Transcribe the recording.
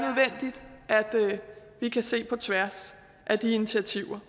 vi kan se på tværs af de initiativer